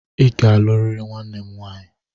I ga-alụrịrị nwanne m nwaanyị!